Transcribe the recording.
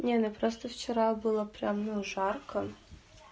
не ну просто вчера было прям ну жарко